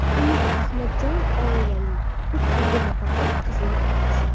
Umid Ahmadjonov oilali, uch o‘g‘il va bir qizning otasi.